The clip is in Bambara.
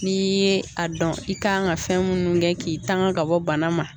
N'i ye a dɔn i kan ka fɛn munnu kɛ k'i tanga ka bɔ bana ma